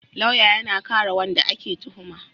lauya yAna kare wanda ake tuhuma